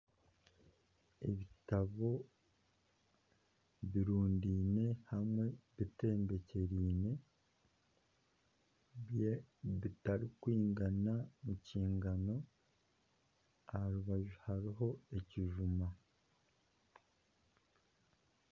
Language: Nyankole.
Ebitabo birundiine hamwe bitembekyeriine, bitarikwingana ekingano aha rubaju hariho ekijuma